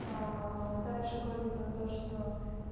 дальше говорить про то что